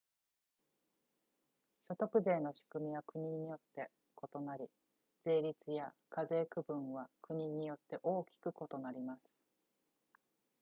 所得税の仕組みは国によって異なり税率や課税区分は国によって大きく異なります